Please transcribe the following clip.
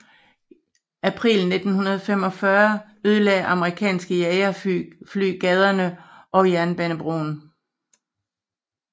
April 1945 ødelagde amerikanske jagerfly gaderne og jernbanebroen